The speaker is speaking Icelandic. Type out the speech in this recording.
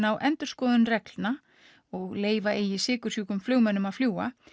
á endurskoðun reglna og leyfa eigi sykursjúkum að fljúga